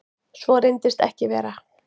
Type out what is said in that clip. Svo reyndist ekki vera